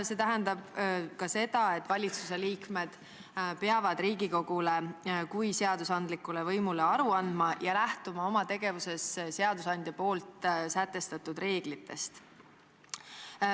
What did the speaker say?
See tähendab ka seda, et valitsuse liikmed peavad Riigikogule kui seadusandlikule võimule aru andma ja lähtuma oma tegevuses seadusandja sätestatud reeglitest.